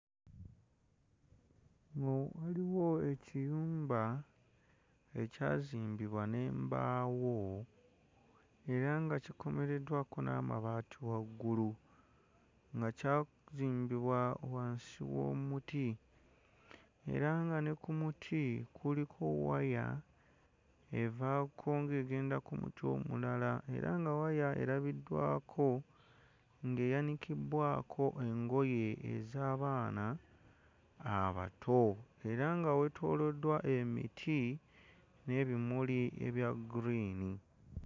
Nno waliwo ekiyumba ekyazimbibwa n'embaawo era nga kikomereddwako n'amabaati waggulu nga kyazimbibwa wansi w'omuti era nga ne ku muti kuliko waya evaako ng'egenda ku muti omulala era nga waya erabiddwako ng'eyanikibbwako engoye ez'abaana abato era nga weetooloddwa emiti n'ebimuli ebya green.